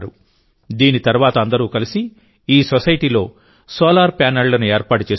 దీని తర్వాత అందరూ కలిసి ఈ సొసైటీలో సోలార్ ప్యానెళ్లను ఏర్పాటు చేసుకున్నారు